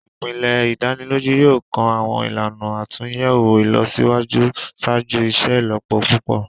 Ipele idaniloju yoo kan awọn ilana atunyẹwo ilọsiwaju ṣaaju iṣelọpọ pupọ.